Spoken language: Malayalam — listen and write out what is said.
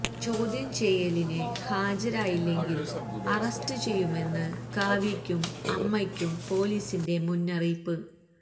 ചോദ്യം ചെയ്യലിന് ഹാജരായില്ലെങ്കിൽ അറസ്റ്റ് ചെയ്യുമെന്ന് കാവ്യയ്ക്കും അമ്മയ്ക്കും പൊലീസിന്റെ മുന്നറിയിപ്പ്